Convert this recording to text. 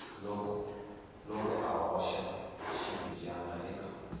loko a hoxa xiribyana eka